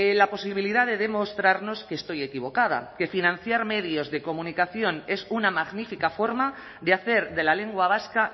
la posibilidad de demostrarnos que estoy equivocada que financiar medios de comunicación es una magnífica forma de hacer de la lengua vasca